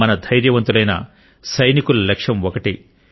మన ధైర్యవంతులైన సైనికుల లక్ష్యం ఒకటే